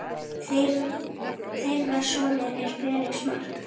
Þeirra sonur er Felix Mark.